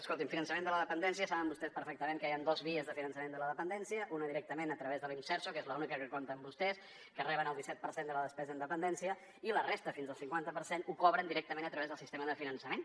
escolti’m finançament de la dependència saben vostès perfectament que hi han dos vies de finançament de la dependència una directament a través de l’imserso que és l’única que compten vostès que reben el disset per cent de la despesa en dependència i la resta fins al cinquanta per cent ho cobren directament a través del sistema de finançament